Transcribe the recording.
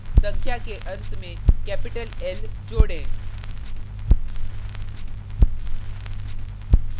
संख्या के अंत में capital l जोडें